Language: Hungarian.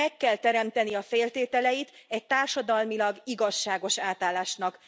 Meg kell teremteni a feltételeit egy társadalmilag igazságos átállásnak.